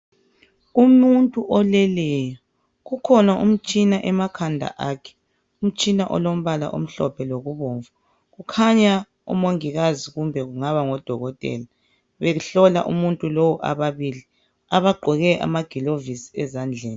Umuntu oleleyo kukhona umtshina emakhanda akhe umtshina , umtshina olombala omhlophe lokubomvu kukhanya umongikazi kumbe kungaba ngodokotela behlola umuntu lo ababili bagqoke amagilavusi ezandleni.